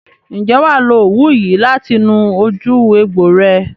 Ǹjẹ́ wà á lo òwú yìí láti nu ojú ẹgbò rẹ?